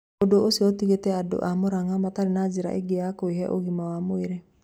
Ũndũ ũcio ũtigĩtĩ andũ a mũrang'a matarĩ na njĩra ĩngĩ ya kwĩhĩ ũgima wa mwĩrĩ